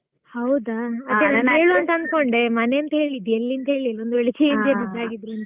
ಹೌದಾ ನಾನ್ ಕೇಳ್ವಾ ಅಂತ ಅನ್ಕೊಂಡೆ ಮನೆ ಅಂತಾ ಹೇಳಿದಿ ಎಲ್ಲಿ ಅಂತ್ ಹೇಳಿಲ್ಲ ಒಂದ್ ವೇಳೆ change ಏನಾದ್ರೂ ಆಗಿದ್ರೆ ಅಂತ.